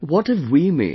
What have we made